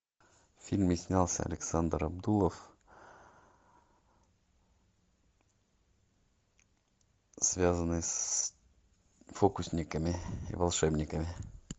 в фильме снялся александр абдулов связанный с фокусниками и волшебниками